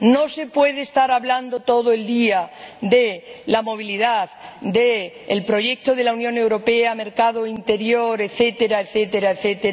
No se puede estar hablando todo el día de la movilidad, del proyecto de la Unión Europea, del mercado interior, etc.,